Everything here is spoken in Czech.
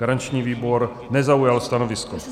Garanční výbor nezaujal stanovisko.